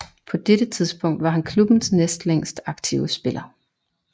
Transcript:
På dette tidspunkt var han klubbens næst længst aktive spiller